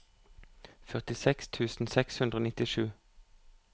førtiseks tusen seks hundre og nittisju